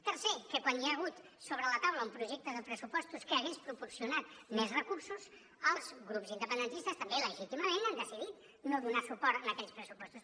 tercer que quan hi ha hagut sobre la taula un projecte de pressupostos que hagués proporcionat més recursos els grups independentistes també legítimament han decidit no donar suport a aquells pressupostos